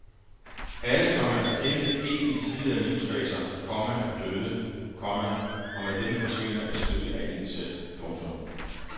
Alle, komma der kendte en i tidligere livsfaser, komma er døde, komma og med dem forsvinder et stykke af en selv. punktum